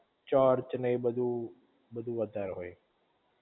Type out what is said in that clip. church ને એ બધુ, બધુ વધારે હોય